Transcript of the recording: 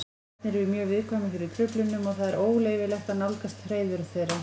Ernir eru mjög viðkvæmir fyrir truflunum og það er óleyfilegt að nálgast hreiður þeirra.